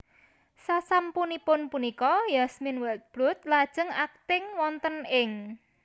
Sasampunipun punika Yasmine Wildblood lajeng akting wonten ing